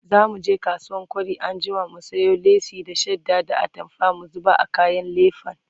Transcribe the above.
zamuje kasuwan kwari anjima mu sayo lace da shadda da atamfa mu zuba a kayan lefen